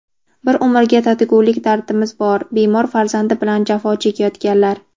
"Bir umrga tatigulik dardimiz bor": bemor farzandi bilan jafo chekayotganlar.